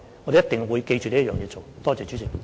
我們一定會謹記這點來做的。